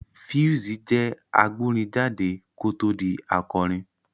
Pheelz jẹ́ agbórin jáde kó tó di akọrin